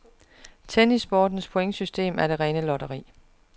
Tennissportens pointsystem er det rene lotteri.